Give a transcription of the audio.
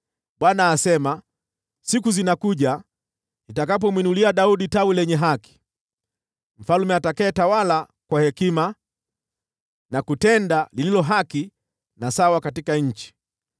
Bwana asema, “Siku zinakuja, nitakapomwinulia Daudi Tawi lenye haki, Mfalme atakayetawala kwa hekima, na kutenda lililo haki na sawa katika nchi.